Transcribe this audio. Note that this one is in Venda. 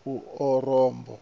ku orobo